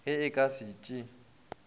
ge o ka se tšee